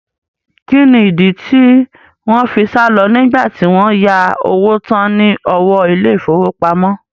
Kí ni ìdí tí wọn fi sálọ nígbà tí wọ́n yá owó tán ní ọwọ́ ilé ìfowópamọ́?